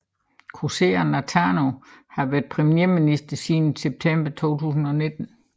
Kausea Natano har været premierminister siden september 2019